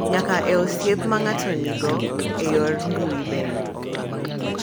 Nyaka e osiep ma ng’ato nigo e yor mbui bende.